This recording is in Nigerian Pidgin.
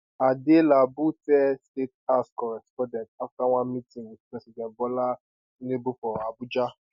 adelabu tell state house correspondents after one meeting with president bola tinubu for abuja